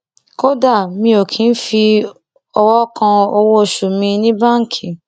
kódà mi ò kì í fọwọ kan owóoṣù mi ní báńkì